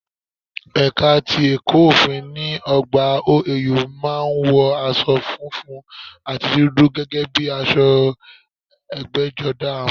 Ẹ̀ka ti ẹ̀kọ̀ òfin ní ọgbà OAU má a ń wọ asọ funfun àti dúdú gẹ́gẹ́ bíi aṣọ ẹgbẹ́jọdá wọn